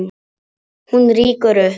Hún rýkur upp.